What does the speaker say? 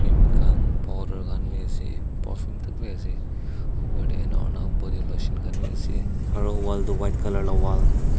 fum khan powder khan bhi ase perfume tak bhi ase bodylotion khan bhi ase aru wall tu white colour lah wall --